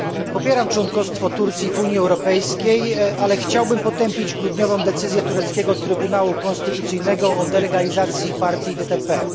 Popieram członkostwo Turcji w Unii Europejskiej, ale chciałbym potępić grudniową decyzję tureckiego Trybunału Konstytucyjnego o delegalizacji partii DTP.